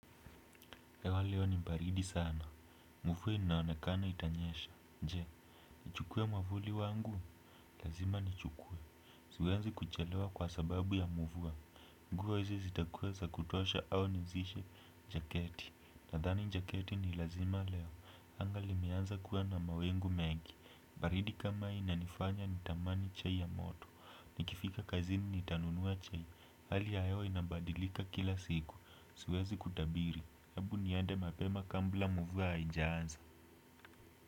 Ewa leo ni mbaridi sana. Mufuwa inaonekana itanyesha. Nje, nichukwe mwavuli wangu? Lazima nichukuwe. Siwezi kuchelewa kwa sababu ya mufuwa. Nguo hizi zitakweza kutosha au nizishe jaketi? Nadhani njaketi ni lazima leo. Anga limeanza kuwa na mawingu mengi. Baridi kama inanifanya nitamani chai ya moto, nikifika kazini nitanunua chai. Hali ya hewa inabadilika kila siku. Siwezi kutabiri. Ebu niende mapema kambula muvua hainjaanza.